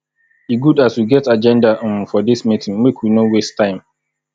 e good as we get agenda um for dis meeting make we no waste time